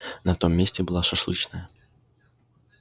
на том месте была шашлычная